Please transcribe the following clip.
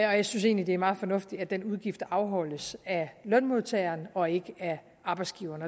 og jeg synes egentlig det er meget fornuftigt at den udgift afholdes af lønmodtageren og ikke af arbejdsgiveren